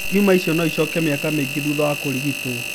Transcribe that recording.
Tiuma ĩcio no ĩcoke mĩaka mingĩ thutha wa kũrigitwo.